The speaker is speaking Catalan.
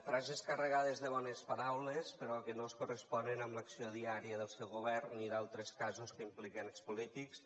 frases carregades de bones paraules però que no es corresponen amb l’acció diària del seu govern ni d’altres casos que impliquen expolítics